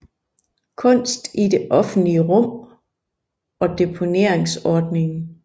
Kunst i det offentlige rum og Deponeringsordningen